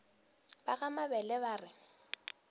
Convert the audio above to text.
ba ga mabele ba re